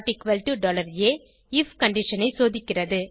if condition ஐ சோதிக்கிறது